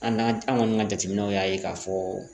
An n'a an kɔni ka jateminɛw y'a ye k'a fɔ